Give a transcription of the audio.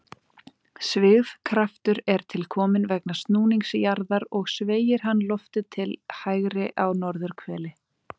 Svigkraftur er til kominn vegna snúnings jarðar og sveigir hann loftið til hægri á norðurhveli.